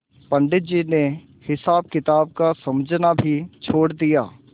पंडित जी ने हिसाबकिताब का समझना भी छोड़ दिया